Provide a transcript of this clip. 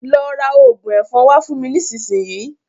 Lọ ra òògùn ẹ̀fọn wá fún mi nísinsìnyí.